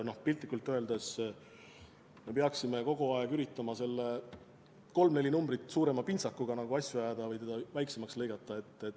Piltlikult öeldes me peaksime kogu aeg üritama kolm-neli numbrit suurema pintsakuga asju ajada või teda väiksemaks lõigata.